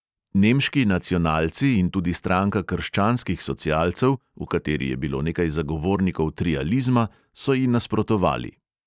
Nemški nacionalci in tudi stranka krščanskih socialcev, v kateri je bilo nekaj zagovornikov trializma, so ji nasprotovali.